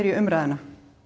umræðu